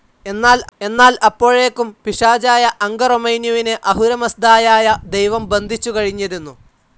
എന്നാൽ അപ്പോഴേക്കും പിശാചായ അംഗറൊമൈന്യുവിനെ അഹുരമസ്ദായായ ദൈവം ബന്ധിച്ചു കഴിഞ്ഞിരുന്നു.